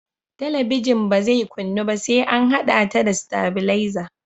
Talabijin ba zai kunnu ba sai an haɗa ta da tailaza